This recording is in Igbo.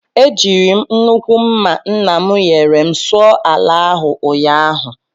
Eji m nnukwu mma nna m nyere m sụọ ala ahụ ụnyahụ